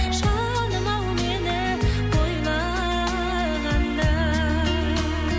жаным ау мені ойлағанда